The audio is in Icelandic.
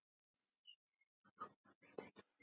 Einræði var áfram við lýði.